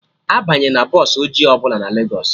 Abanyena bọsụ ọjị ọbụla na Legos